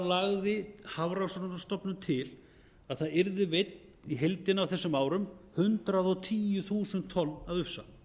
lagði hafrannsóknastofnun til að það yrðu veidd í heildina á þessum árum hundrað og tíu þúsund tonn af ufsa